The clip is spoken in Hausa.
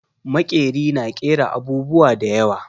Maƙeri na ƙera abubuwa da yawa.